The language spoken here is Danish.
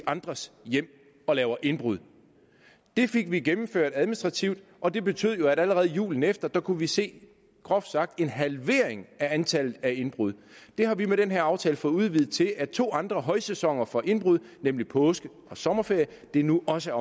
andres hjem og laver indbrud det fik vi gennemført administrativt og det betød jo at vi allerede julen efter kunne se groft sagt en halvering af antallet af indbrud det har vi med den her aftale fået udvidet til at to andre højsæsoner for indbrud nemlig påske og sommerferie nu også